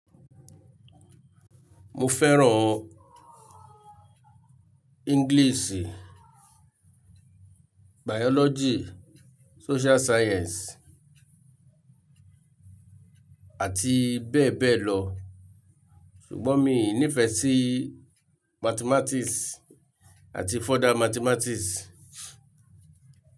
Mo fẹ́ràn English, Biology, Social Science àti bẹ́ẹ̀ bẹ́ẹ̀ lọ ṣùgbọ́n mi i nífẹ sí Mathematics ati further-mathematics.